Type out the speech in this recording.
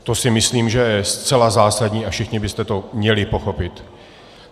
To si myslím, že je zcela zásadní, a všichni byste to měli pochopit.